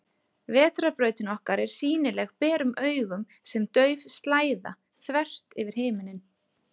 Vetrarbrautin okkar er sýnileg berum augum sem dauf slæða, þvert yfir himinninn.